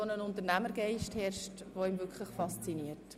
Dort herrscht ein Unternehmergeist, der wirklich sehr faszinierend ist.